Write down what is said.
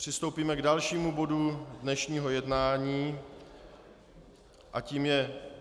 Přistoupíme k dalšímu bodu dnešního jednání a tím je